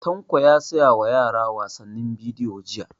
Tanko ya saya wa yara wasannin bidiyo jiya